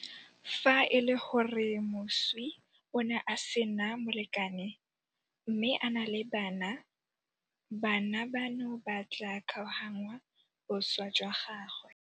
Fa e le gore moswi o ne a sena molekane mme a na le bana, bana bano ba tla kgaoganngwa boswa jwa gagwe.